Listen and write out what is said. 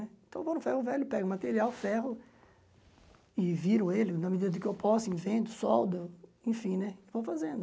Então eu vou no ferro velho, pego material, ferro e viro ele na medida que eu posso, invento, soldo, enfim né, vou fazendo.